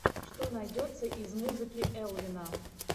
что найдется из музыки элвина